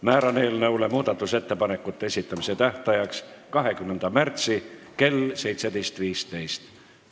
Määran eelnõu muudatusettepanekute esitamise tähtajaks 20. märtsi kell 17.15.